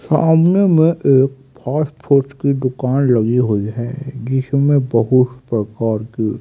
सामने में एक फास्ट फूड की दुकान लगी हुई है जिसमें बहुत प्रकार की--